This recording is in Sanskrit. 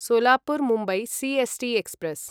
Solapur Mumbai C S T express